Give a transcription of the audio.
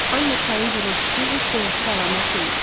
Amma çayın gurultusu heç də yaxşı əlamət deyildi.